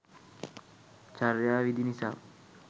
චර්යා විදි නිසා